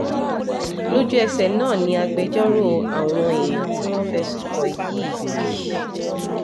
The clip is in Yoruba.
lójú ẹsẹ náà ni agbẹjọ́rò àwọn èèyàn tí wọ́n fẹ̀sùn kàn yìí